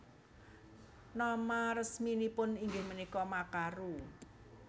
Nama resminipun inggih punika Makaru